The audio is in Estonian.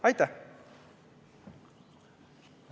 Aitäh!